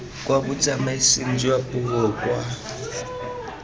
kwa botsamaising jwa puo kwa